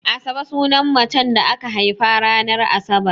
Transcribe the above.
Asabe sunan macen da aka haifa ranar Asabar.